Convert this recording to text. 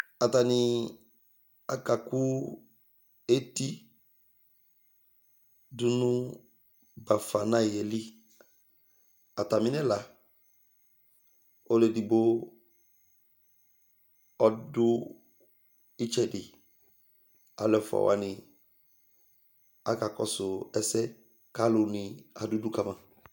Ataŋɩ aƙaƙʊ étɩ ɖʊnʊ ɓaƒana ƴɛlɩ Atamɩŋɛla Ɔlʊ éɖɩgɓo ɔɖʊ ɩtsɛɖɩ Alʊ ɛƒoawanɩ aƙaƙɔsʊ ɛsɛ ƙalʊnɩ aɖu ʊɖʊƙama